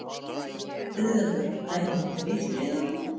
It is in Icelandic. Auðveldara að dæma á móti litlu liðunum?